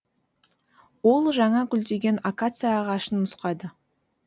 ол жаңа гүлдеген акация ағашын нұсқады